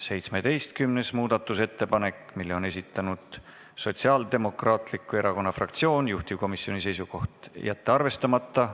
17. muudatusettepaneku on esitanud Sotsiaaldemokraatliku Erakonna fraktsioon, juhtivkomisjoni seisukoht on jätta see arvestamata.